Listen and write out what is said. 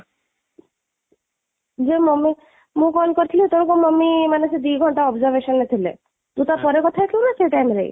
ଯେ mummy ମୁଁ call କରିଥିଲି ସେତେବେଳେକୁ mummy ମାନେ ସେ ଦୁଇ ଘଣ୍ଟା observation ରେ ଥିଲେ, ତୁ ତା'ପରେ କଥା ହେଇଥିଲୁ ନା ସେଇ time ରେ?